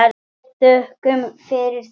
Við þökkum fyrir þetta.